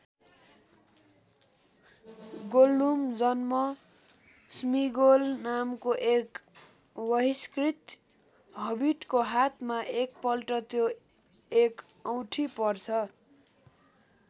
Gollum जन्म Smeagol नामको एक वहिष्कृत हबिटको हातमा एकपल्ट त्यो एक औँठी पर्छ।